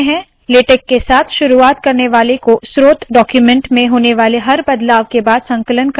LaTeX के साथ शुरुवात करने वाले को स्रोत डाक्यूमेन्ट में होने वाले हर बदलाव के बाद संकलन करना चाहिए और सुनिश्चित करना चाहिए के जो भी उन्होंने एन्टर किया है सही है